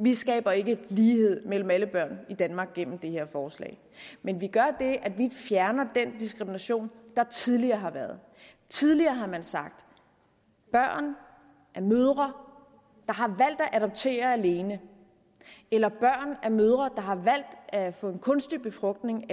vi skaber ikke lighed mellem alle børn i danmark gennem det her forslag men vi gør det at vi fjerner den diskrimination der tidligere har været tidligere har man sagt at børn af mødre der har valgt at adoptere alene eller børn af mødre der har valgt at få kunstig befrugtning